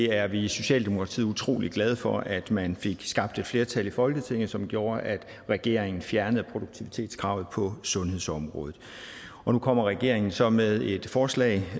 er i socialdemokratiet utrolig glade for at man fik skabt et flertal i folketinget som gjorde at regeringen fjernede produktivitetskravet på sundhedsområdet nu kommer regeringen så med et forslag